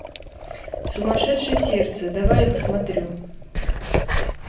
сумасшедшее сердце давай я посмотрю